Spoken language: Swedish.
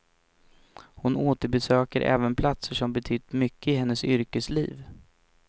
Hon återbesöker även platser som betytt mycket i hennes yrkesliv.